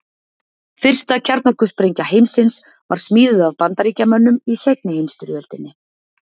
fyrsta kjarnorkusprengja heimsins var smíðuð af bandaríkjamönnum í seinni heimsstyrjöldinni